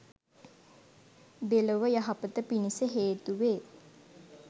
දෙලොව යහපත පිණිස හේතු වේ